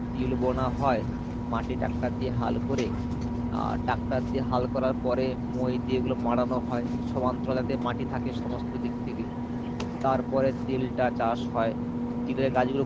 তিল বোনা হয় মাটি টাক্কা দিয়ে হাল করে আহ টাক্কা দিয়ে হাল করার পরে মই দিয়ে এগুলো মাড়ানো হয় সমান্তরলে যাতে মাটি থাকে সমস্ত দিক থেকে তারপরে তিলটা চাষ হয় তিলের গাছগুলো খুব